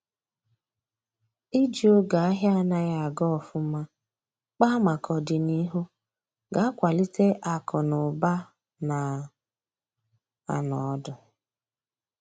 iji oge ahia anaghi aga ofuma kpaa maka ọdịnihu ga akwalite akụ na ụba na anọ ọdụ